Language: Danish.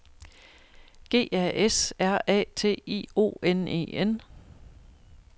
G A S R A T I O N E N